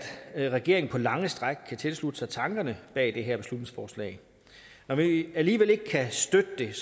at regeringen på lange stræk kan tilslutte sig tankerne bag det her beslutningsforslag når vi alligevel ikke kan støtte det er